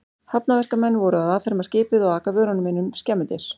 Hafnarverkamenn voru að afferma skipið og aka vörunum inn um skemmudyr.